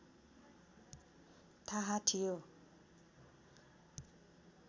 थाहा थियो